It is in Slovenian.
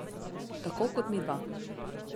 Tako kot midva.